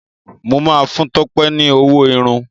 mọ má fún Tope ní ọwọ Irun.